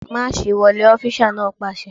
Máàṣì wọlé! Ọfísà náà pàṣẹ